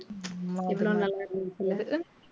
உம் எவ்ளோ நல்லா இருந்துச்சுல்ல